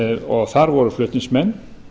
og þar voru flutningsmenn